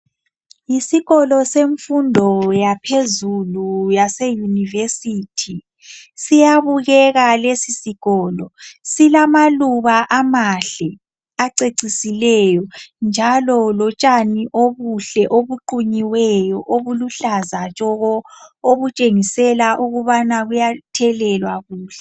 Isikolo semfundo yaphezulu yase university siyabukeka lesi sikolo silamaluba amahle acecisileyo njalo lotshani obuhle obuqunyiweyo obuluhlaza tshoko obutshengisela ukubana buyathelelwa kuhle.